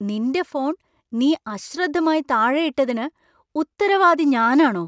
നിന്‍റെ ഫോൺ നീ അശ്രദ്ധമായി താഴെയിട്ടതിന് ഉത്തരവാദി ഞാനാണോ!